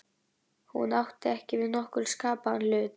Hún átti ekki við nokkurn skapaðan hlut.